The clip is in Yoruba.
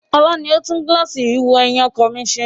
Ọlá ni ó tún gíláàsì ìwò-ẹ̀yìn ara ọkọ̀ mi ṣe